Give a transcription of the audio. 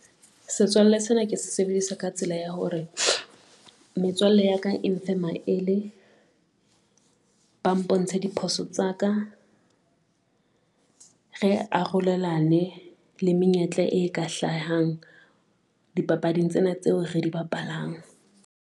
Setswalle sena ke se sebedisa ka tsela ya hore metswalle ya ka, e mfe maele, ba mpontshe diphoso tsa ka, re arolelane le menyetla e ka hlahang dipapading tsena tseo re di bapalang.